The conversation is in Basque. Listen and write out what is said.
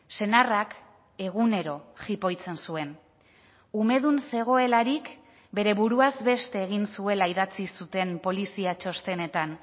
senarrak egunero jipoitzen zuen umedun zegoelarik bere buruaz beste egin zuela idatzi zuten polizia txostenetan